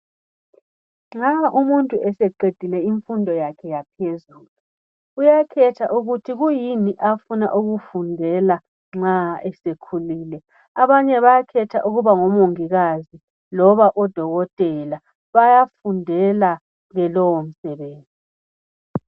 Nxa umuntu eseqedile imfundo yakhe yaphezulu uyakhetha ukuthi kuyini afuna ukukufundela nxa esekhulile. Abanye bayakhetha ukuba ngo Mongikazi loba oDokotela. Bayafundela ke lowo msebenzi.